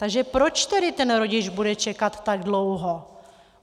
- Takže proč tedy ten rodič bude čekat tak dlouho?